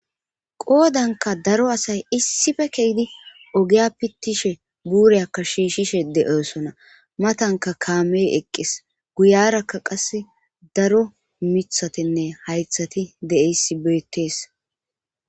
Qodanka daro asay issife keydi ogiya pittishe buure akka shiishshishe de' sona matanka kaamey eqqes guyarakka qas daro mithatenne haythati de7eysi beettees.